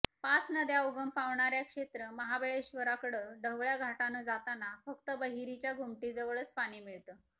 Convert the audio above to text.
पाच नद्या उगम पावणाऱ्या क्षेत्र महाबळेश्वराकडं ढवळ्या घाटानं जाताना फक्त बहिरीच्या घुमटीजवळच पाणी मिळतं